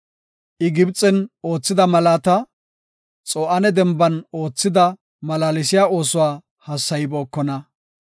I Gibxen oothida malaata, Xo7aane Denban oothida malaalsiya oosuwa hassaybookona.